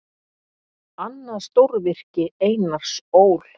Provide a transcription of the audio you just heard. Annað stórvirki Einars Ól.